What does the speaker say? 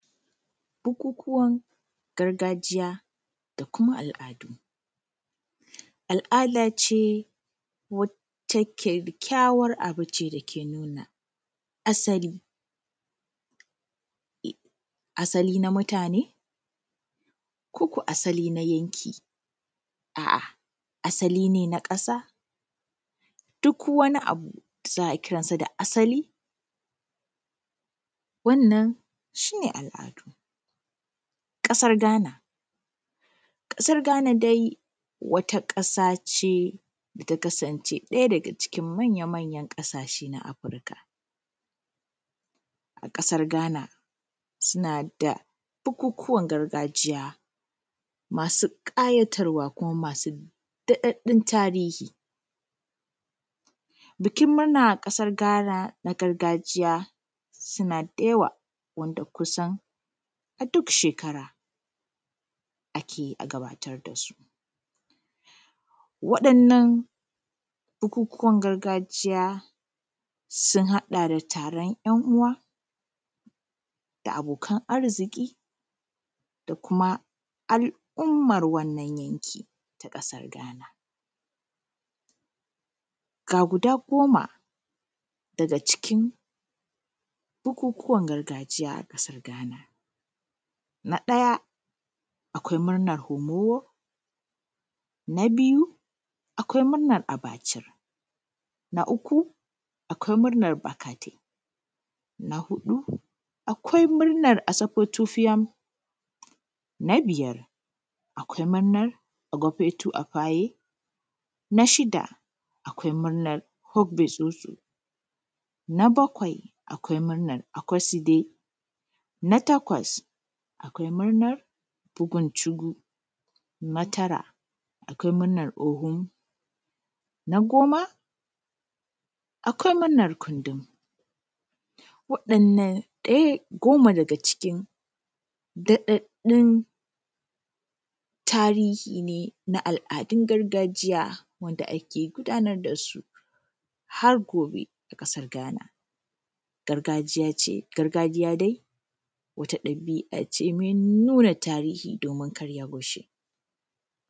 Bukukuwan gargajiya da kuma al’adu. Al’ada ce wata ƙyaƙƙyawan abu ne dake nuna asali, asali na mutane? Ko ko asali na yanki? A’a asali ne na ƙasa? Duk wani abu za a kirasa da asali, wannan shi ne al’adu. ƙasar gana, ƙasar gana dai wata ƙasa ce da ta kasance ɗaya daga cikin manya-manyan ƙasashe na afrika. A ƙasar gana suna da bukukuwan gargajiya masu kayatarwa kuma masu da daɗun tarihi. Bikin murna a ƙasar gana na gargajiya suna da yawa wanda kusan aduk shekara ake gabatar dasu. Waɗannan bukukuwan gargajiya sun haɗa da taron ‘yan uwa da abokan arziki da kuma al’umman wannan yanki ta ƙasar gana. Ga guda goma daga cikin bukukuwan gargajiya a ƙasar gana. Na ɗaya akwai murnan homo. Na biyu, akwai murnan abacir. Na uku, akwai murnan bakatai. Na huɗu, akwai murnar asafotiyam. Na biyar, akwai murnan agofetu afaye. Na shida, akwai murnan hugfisoso. Na bakwai, akwai murnan akoside. Na takwas, akwai murnan bukun cigu. Na tara, akwai murnan ohom, Na goma, akwai murnan kundum. Waɗannan goma daga cikin da daɗun tarihi ne na al’adun gargajiya wanda ake gudanar dasu har gobe, a ƙasar gana, gargajiya ce dai wata dabi’a ce mai nuna tarihi domin karya goshi.